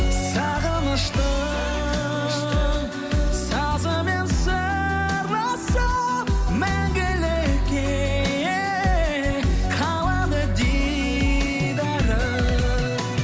сағыныштың сазымен сырласып мәңгілікке қалады дидарың